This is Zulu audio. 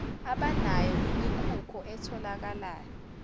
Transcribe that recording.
abanayo imikhukho etholakala